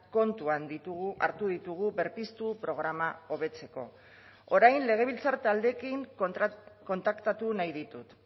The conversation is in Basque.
kontuan ditugu hartu ditugu berpiztu programa hobetzeko orain legebiltzar taldeekin kontaktatu nahi ditut